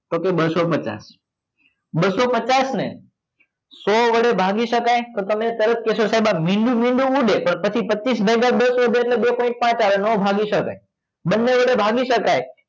તો કે બસસો પચાસ બસસો પચાસ ને સો વડે ભાગી શકાય તો તમે તરત કહેશો સાહેબ આ મીંડું હું લે તો પછી પચ્ચીસ ભાગ્યા બે કર્યા તો બે point પાચ આવે ન ભાગી શકાય બંને વડે ભાગી શકાય